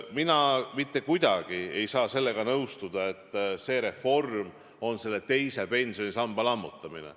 Mina ei saa mitte kuidagi sellega nõustuda, et see reform on teise pensionisamba lammutamine.